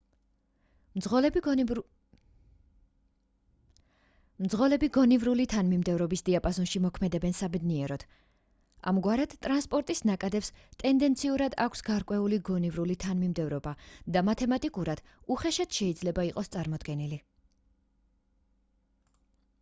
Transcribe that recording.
მძღოლები გონივრული თანმიმდევრობის დიაპაზონში მოქმედებენ საბედნიეროდ ამგვარად ტრანსპორტის ნაკადებს ტენდენციურად აქვს გარკვეული გონივრული თანმიმდევრულობა და მათემატიკურად უხეშად შეიძლება იყოს წარმოდგენილი